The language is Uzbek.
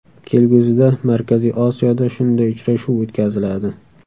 Kelgusida Markaziy Osiyoda shunday uchrashuv o‘tkaziladi.